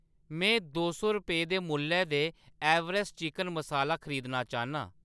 में दो सौ रपेऽ दे मुल्लै दे एवेरेस्ट चिकन मसाला खरीदना चाह्‌न्नां